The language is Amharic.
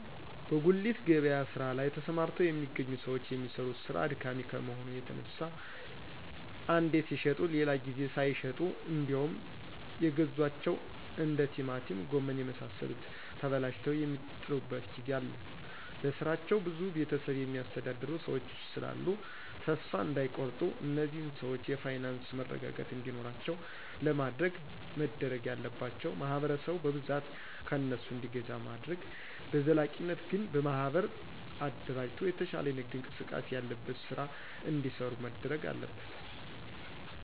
በጉሊት ገበያ ስራ ላይ ተሰማርተው የሚገኙ ሰዎች የሚሰሩት ስራ አድካሚ ከመሆኑ የተነሳ አንዴ ሲሽጡ ሌላ ጊዜ ሳይሸጡ እንዴውም የገዟቸው እንደ ቲማቲም ጎመን የመሳሰሉት ተበላሽተው የሚጥሉበት ጊዜ አለ በስራቸው ብዙ ቤተሰብ የሚያስተዳድሩ ሰዎች ስላሉ ተሰፋ እዳይቆርጡ እነዚህን ሰዎች የፋይናንስ መረጋጋት እንዲኖራቸው ለማድረግ መደረግ ያለባቸው ማህበረሰቡ በብዛት ከእነሱ እንዲገዛ ማድረግ በዘላቂነት ግን በማህበር አደራጅቶ የተሻለ የንግድ እንቅስቃሴ ያለበት ስራ እዲሰሩ መደረግ አለበት።